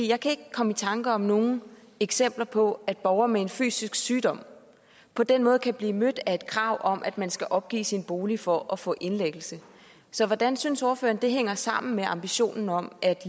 jeg kan ikke komme i tanke om nogen eksempler på at borgere med en fysisk sygdom på den måde kan blive mødt af et krav om at man skal opgive sin bolig for at få indlæggelse så hvordan synes ordføreren det hænger sammen med ambitionen om at